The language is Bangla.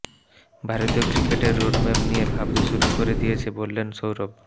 ভারতীয় ক্রিকেটের রোডম্যাপ নিয়ে ভাবতে শুরু করে দিয়েছি বললেন সৌরভ